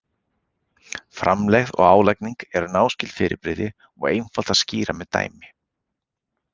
Framlegð og álagning eru náskyld fyrirbrigði og einfalt að skýra með dæmi.